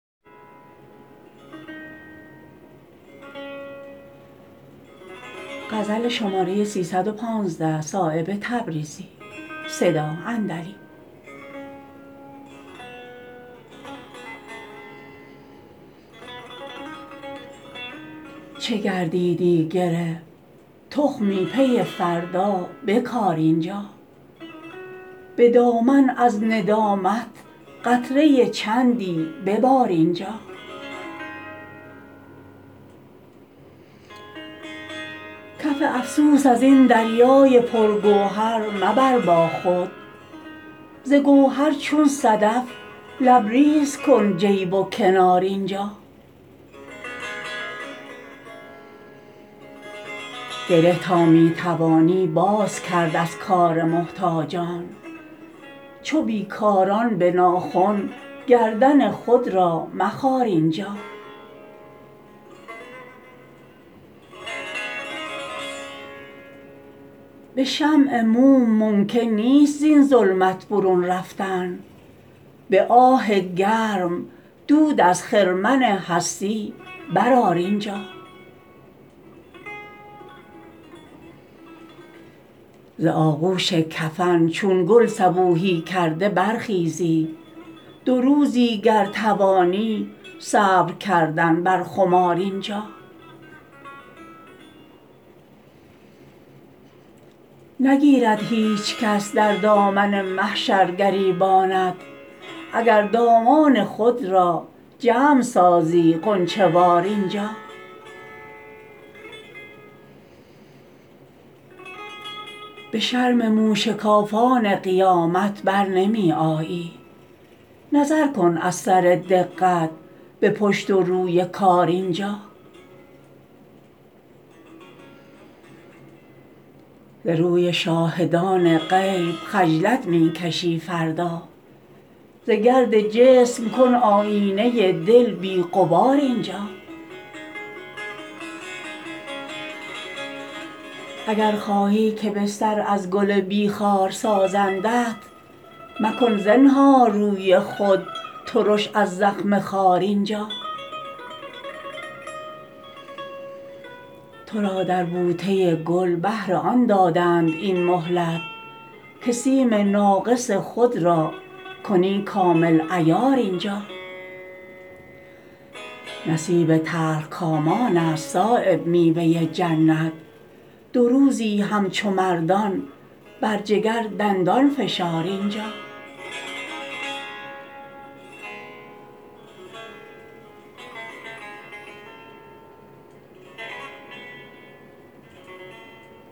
چه گردیدی گره تخمی پی فردا بکار اینجا به دامن از ندامت قطره چندی ببار اینجا کف افسوس ازین دریای پرگوهر مبر با خود ز گوهر چون صدف لبریز کن جیب و کنار اینجا گره تا می توانی باز کرد از کار محتاجان چو بیکاران به ناخن گردن خود را مخار اینجا به شمع موم ممکن نیست زین ظلمت برون رفتن به آه گرم دود از خرمن هستی برآر اینجا ز آغوش کفن چون گل صبوحی کرده برخیزی دو روزی گر توانی صبر کردن بر خمار اینجا نگیرد هیچ کس در دامن محشر گریبانت اگر دامان خود را جمع سازی غنچه وار اینجا به شرم موشکافان قیامت برنمی آیی نظر کن از سر دقت به پشت و روی کار اینجا ز روی شاهدان غیب خجلت می کشی فردا ز گرد جسم کن آیینه دل بی غبار اینجا اگر خواهی که بستر از گل بی خار سازندت مکن زنهار روی خود ترش از زخم خار اینجا ترا در بوته گل بهر آن دادند این مهلت که سیم ناقص خود را کنی کامل عیار اینجا نصیب تلخکامان است صایب میوه جنت دو روزی همچو مردان بر جگر دندان فشار اینجا